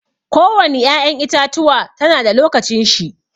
Ko wani ƴa'ƴan itatuwa ta na da lokacin shi.